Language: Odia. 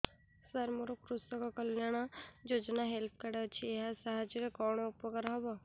ସାର ମୋର କୃଷକ କଲ୍ୟାଣ ଯୋଜନା ହେଲ୍ଥ କାର୍ଡ ଅଛି ଏହା ସାହାଯ୍ୟ ରେ କଣ ଉପକାର ହବ